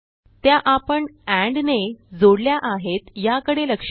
त्या आपण ANDने जोडल्या आहेत याकडे लक्ष द्या